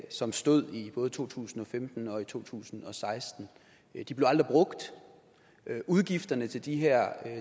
som stod i både to tusind og femten og to tusind og seksten de blev aldrig brugt udgifterne til de her